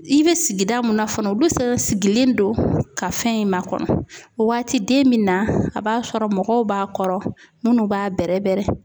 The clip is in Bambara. I be sigida mun na fana ,olu sen sigilen don ka fɛn in ma kɔnɔ waati den mun na a b'a sɔrɔ mɔgɔw b'a kɔrɔ munnu b'a bɛrɛ bɛrɛ.